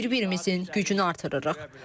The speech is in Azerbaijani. Bir-birimizin gücünü artırırıq.